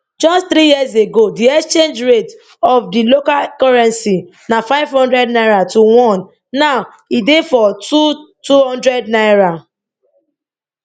just three years ago di exchange rate of di local currency na 500 naira to 1 now e dey for 2200 naira